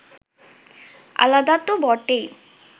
আলাদা তো বটেই